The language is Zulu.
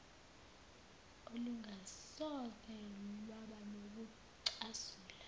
olungasoze lwaba nokucasula